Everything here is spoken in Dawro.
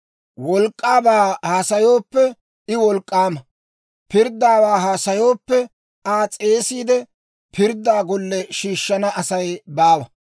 Wolk'k'aabaa haasayooppe, I wolk'k'aama. Pirddaawaa haasayooppe, Aa s'eesiide, pirdda golle shiishshana Asay baawa.